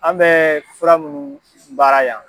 An bɛ fura minnu baara yan.